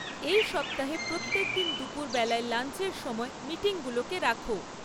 এই সপ্তাহে প্রত্যেকদিন দুপুরবেলায় লাঞ্চের সময় মিটিংগুলোকে রাখো